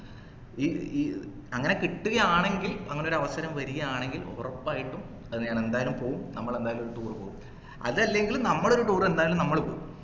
ഈ ഈ അങ്ങനെ കിട്ടുകയാണെങ്കിൽ അങ്ങനെ ഒരു അവസരം വരികയാണെങ്കിൽ ഒറപ്പായിട്ടും അത് ഞാൻ എന്തായാലും പോകും നമ്മൾ എന്തായാലും ഒരു tour പോകും അതല്ലെങ്കിൽ നമ്മള് ഒരു tour എന്തായാലും നമ്മൾ പോകും